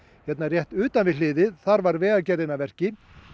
hérna rétt utan við hliðið þar var Vegagerðin að verki